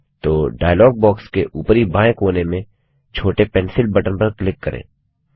तो dialog box के ऊपरी बाएं कोने में छोटे पेंसिल बटन पर क्लिक करें